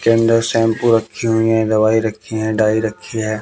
इसके अंदर शैंपू रखी हुई हैं दवाई रखी हैं डाई रखी है।